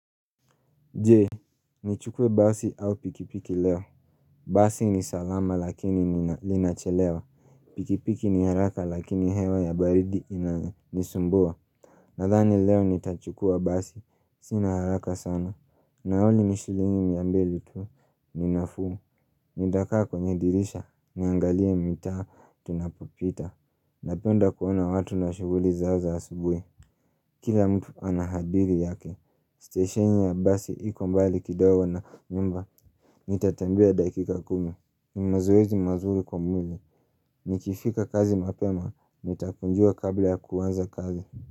Je, nichukue basi au pikipiki leo. Basi ni salama lakini linachelewa. Pikipiki ni haraka lakini hewa ya baridi inanisumbua. Nadhani leo nitachukua basi. Sina haraka sana. Nauli ni shilingi miambeli tu. Ni nafuu Nitakaa kwenye dirisha. Niangalie mta tunapopita. Napenda kuona watu na shughuli zao za asubuhi Kila mtu anahadiri yake, stesheni ya basi iko mbali kidogo na nyumba Nitatembea dakika kumi, ni mazoezi mazuri kwa mwili Nikifika kazi mapema, nitakunjua kabla ya kuanza kazi.